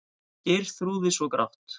Geirþrúði svo grátt.